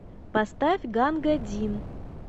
поставь ганга дин